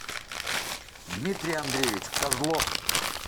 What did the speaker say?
дмитрий андреевич козлов